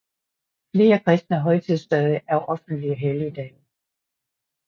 Flere kristne højtidsdage er offentlige helligdage